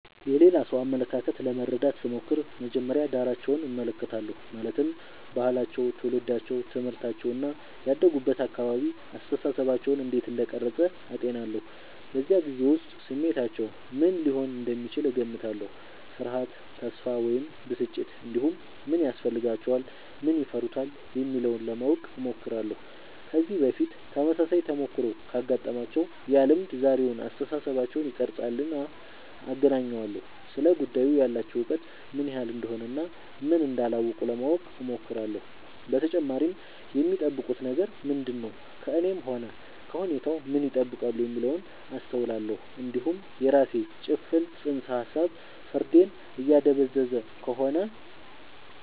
የሌላ ሰው አመለካከት ለመረዳት ስሞክር መጀመሪያ ዳራቸውን እመለከታለሁ ማለትም ባህላቸው ትውልዳቸው ትምህርታቸው እና ያደጉበት አካባቢ አስተሳሰባቸውን እንዴት እንደቀረጸ አጤናለሁ በዚያ ጊዜ ውስጥ ስሜታቸው ምን ሊሆን እንደሚችል እገምታለሁ ፍርሃት ተስፋ ወይም ብስጭት እንዲሁም ምን ያስፈልጋቸዋል ምን ይፈሩታል የሚለውን ለማወቅ እሞክራለሁ ከዚህ በፊት ተመሳሳይ ተሞክሮ ካጋጠማቸው ያ ልምድ ዛሬውን አስተሳሰባቸውን ይቀርፃልና አገናኘዋለሁ ስለ ጉዳዩ ያላቸው እውቀት ምን ያህል እንደሆነ እና ምን እንዳላወቁ ለማወቅ እሞክራለሁ በተጨማሪም የሚጠብቁት ነገር ምንድነው ከእኔም ሆነ ከሁኔታው ምን ይጠብቃሉ የሚለውን አስተውላለሁ እንዲሁም የራሴ ጭፍን ጽንሰ ሀሳብ ፍርዴን እያደበዘዘ ከሆነ